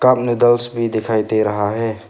भी दिखाई दे रहा है।